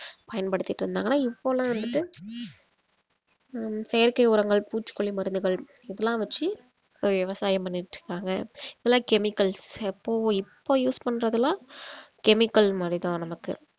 பயன்படுத்திட்டு இருந்தாங்க ஆனா இப்போல்லாம் வந்துட்டு ஹம் செயற்கை உரங்கள் பூச்சிக் கொல்லி மருந்துகள் இதெல்லாம் வெச்சி விவசாயம் பண்ணிட்டு இருக்காங்க எல்லாம் chemicals எப்பவோ இப்ப use பண்றதெல்லாம் chemical மாரி தான் நமக்கு